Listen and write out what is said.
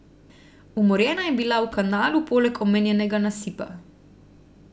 Umorjena je bila v kanalu poleg omenjenega nasipa.